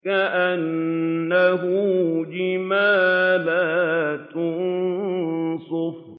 كَأَنَّهُ جِمَالَتٌ صُفْرٌ